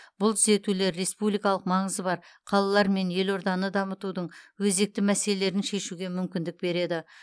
бұл түзетулер республикалық маңызы бар қалалар мен елорданы дамытудың өзекті мәселелерін шешуге мүмкіндік береді